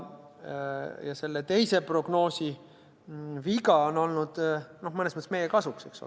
Ja selle teise prognoosi viga on olnud mõnes mõttes meie kasuks.